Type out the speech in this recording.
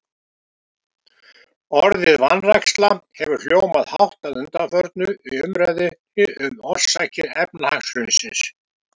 Orðið vanræksla hefur hljómað hátt að undanförnu í umræðunni um orsakir efnahagshrunsins.